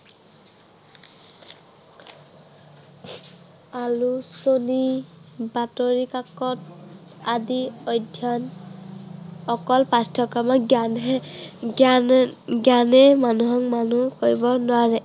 আলোচনী, বাতৰিকাকত আদি অধ্য়য়ন অকল পাঠ্য়ক্ৰমৰ জ্ঞানে, জ্ঞানে জ্ঞানেই মানুহক মানুহ কৰিব নোৱাৰে।